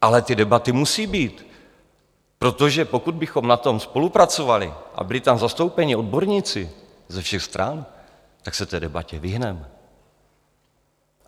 Ale ty debaty musí být, protože pokud bychom na tom spolupracovali a byli tam zastoupeni odborníci ze všech stran, tak se té debatě vyhneme.